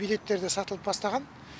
билеттер де сатылып бастаған